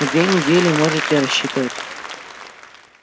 на две недели можете рассчитывать